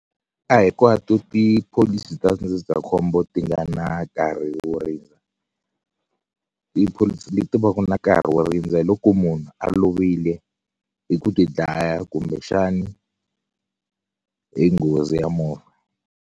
A hinkwato tipholisi ta ndzindzakhombo ti nga na nkarhi wo rindza tipholisi leti va ku na nkarhi wo rindza hi loko munhu a lovile hi ku tidlaya kumbexani hi nghozi ya movha.